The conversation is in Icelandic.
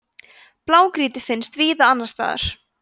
blágrýti finnst víða annars staðar